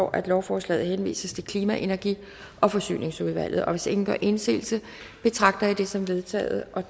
at lovforslaget henvises til klima energi og forsyningsudvalget hvis ingen gør indsigelse betragter jeg det som vedtaget